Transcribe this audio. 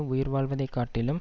உயிர்வாழ்வதைக் காட்டிலும்